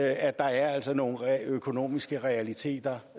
at der altså er nogle økonomiske realiteter